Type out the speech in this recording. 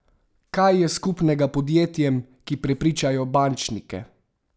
Kaj je skupnega podjetjem, ki prepričajo bančnike?